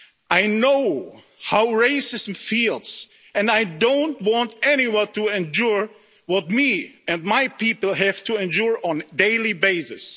I know how racism feels and I don't want anyone to endure what me and my people have to endure on a daily basis.